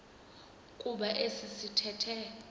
kuba esi sithethe